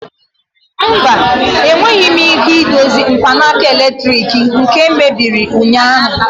Mba, enweghị m ike idozi mkpanaka eletrik nke mebiri ụnyaahụ.